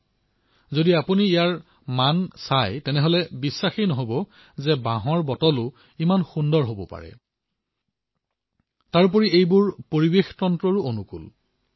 বাঁহৰ পৰা উৎপাদিত এই বটলবোৰৰ গুণগতমান পৰিলক্ষিত কৰি আপোনালোকে বিশ্বাস নকৰিব যে বাঁহৰ এই বটলো ইমান ধুনীয়া হব পাৰে আৰু এই বটল পৰিবেশ অনুকূলো হয়